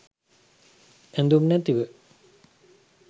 ඇඳුම් නැතුව.